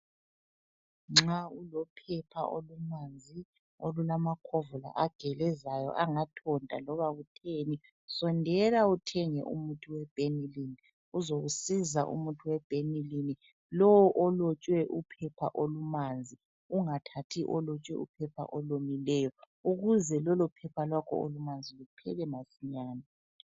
Nxa ulophepha olumanzi olulamakhovula agelezayo angathonta loba kutheni, sondela uthenge umuthi weBenylin. Uzokusisa umuthi we Benylin, lowu olotshwe uphepha olumanzi ungathathi olotshwe uphepha olomileyo, ukuze lolo phepha lwakho olumanzi luphele masinyane.